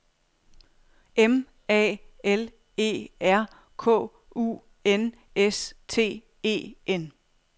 M A L E R K U N S T E N